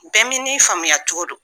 faamuya cogo don